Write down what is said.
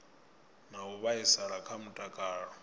na u vhaisala kha mutakalo